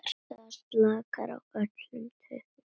Það slaknar á öllum taugum.